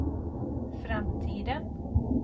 framtiden